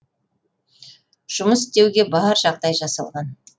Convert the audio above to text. жұмыс жасауға бар жағдай жасалған